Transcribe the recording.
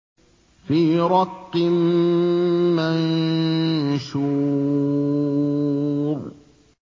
فِي رَقٍّ مَّنشُورٍ